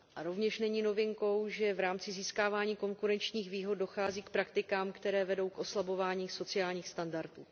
A rovněž není novinkou, že v rámci získávání konkurenčních výhod dochází k praktikám, které vedou k oslabování sociálních standardů.